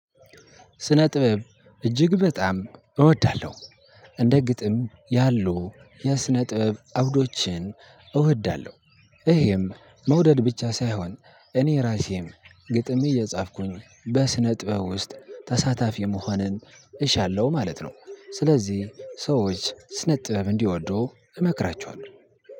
ስነጥበብ እጅግ በጣም እወዳለሁ። እንደ ግጥም ያሉ የስነ ጥበብ አውዶችን እወዳለሁ። ይሄም መውደድ ብቻ ሳይሆን እኔ ራሴም ግጥሜ እየጻፍኩኝ በስነ ጥበብ ውስጥ ተሳታፊ መሆንን እሻለሁ ማለት ነው። ስለዚህ ሰዎች ስነ ጥበብ እንዲወድ እመክራቸዋለሁ።